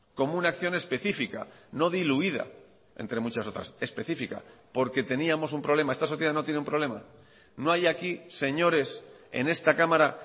como una acción especifica no diluida entre muchas otras especifica porque teníamos un problema esta sociedad no tiene un problema no hay aquí señores en esta cámara